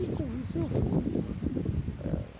E com isso eu fui. Ãh